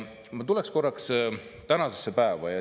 Ma tulen korraks tänasesse päeva.